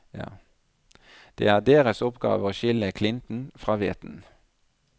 Det er deres oppgave å skille klinten fra hveten.